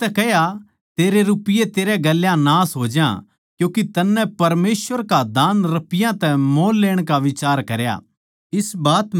पतरस नै उसतै कह्या तेरे रपिये तेरै गेल्या नाश होज्या क्यूँके तन्नै परमेसवर का दान रपियाँ तै मोल लेण का बिचार करया